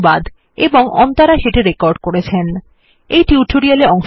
আমি অনির্বাণ স্বাক্ষর করলাম